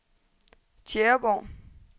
Tjæreborg